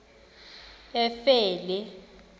efele